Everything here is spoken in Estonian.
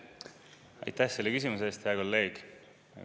Aitäh selle küsimuse eest, hea kolleeg!